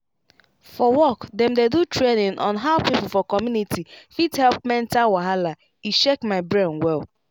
for work dem do training on how people for community fit help mental wahala e shake my brain well.